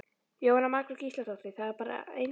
Jóhanna Margrét Gísladóttir: Það er bara einstakt?